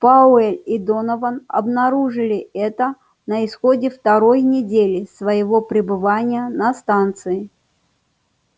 пауэлл и донован обнаружили это на исходе второй недели своего пребывания на станции